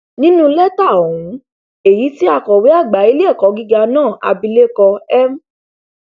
nínú lẹtà ọhún èyí tí akọwé àgbà iléẹkọ gíga náà abilékọ m